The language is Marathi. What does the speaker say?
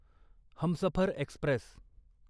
हमसफर एक्स्प्रेस